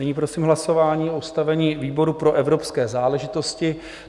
Nyní prosím hlasování o ustavení výboru pro evropské záležitosti.